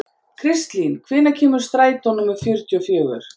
Kristlín, hvenær kemur strætó númer fjörutíu og fjögur?